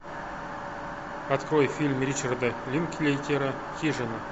открой фильм ричарда линклейтера хижина